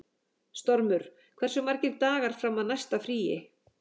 Stormur, hversu margir dagar fram að næsta fríi?